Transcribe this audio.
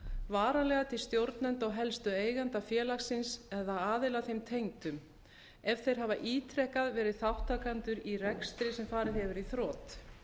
varanlega til stjórnenda og helstu eigenda félagsins eða aðila þeim tengdum ef þeir hafa ítrekað verið þátttakendur í rekstri sem farið hefur í þrot